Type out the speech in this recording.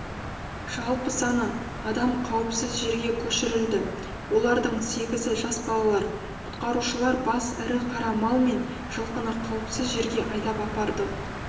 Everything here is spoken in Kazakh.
жалпы саны адам қауіпсіз жерге көшірілді олардың сегізі жас балалар құтқарушылар бас ірі қара мал мен жылқыны қауіпсіз жерге айдап апарды